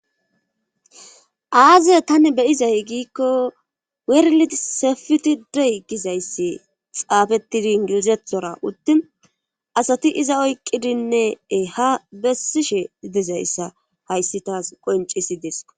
aaze tani beyizay giikko werli sefiti dey gizayssi xaafettidi ingilizethora uttin asati iza oyqqidinnee ha bessishe idizayssa hayssi taas qoncisi desko